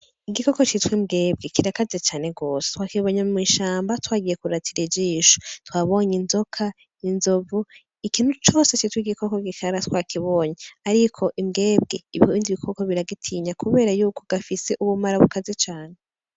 Igikoko citwe imbwebwe kirakaze cane rwose twa kibonya mw'ishamba twagiye kuratira ijisho twabonye inzoka inzovu ikintu cose citwe igikoko gikara twa kibonye, ariko imbwebwe ibindi ibikoko biragitinya, kubera yuko gifise ubumara bukaze cane.